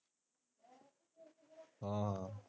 ਹਾਂ